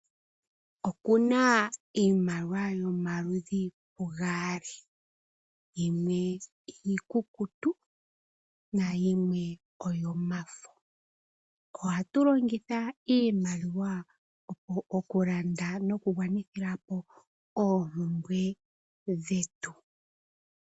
Okuna iimaliwa yomaludhi gaali yimwe iikukutu na yimwe oyo mafo. Ohatu longitha iimaliwa oku landa noku gwa nithapo oompumbwe dhetu.